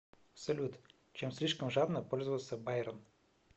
салют чем слишком жадно пользовался байрон